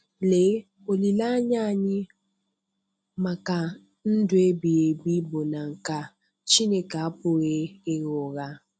Lee, olileanya anyị maka ndụ ebighị ebi bụ nke a. Chineke apụghị ịgha ụgha.